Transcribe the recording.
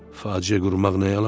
Faciə qurmaq nəyə lazım?